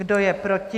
Kdo je proti?